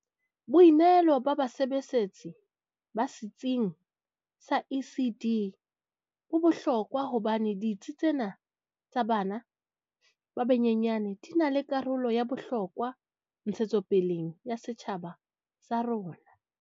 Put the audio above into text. Boinehelo ba basebesetsi ba setsing sa ECD bo bohlokwa hobane ditsi tsena tsa bana ba banyenyane di na le karolo ya bohlokwa ntshetsopeleng ya setjhaba sa rona.